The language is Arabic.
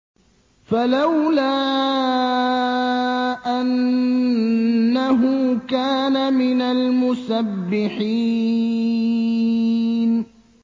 فَلَوْلَا أَنَّهُ كَانَ مِنَ الْمُسَبِّحِينَ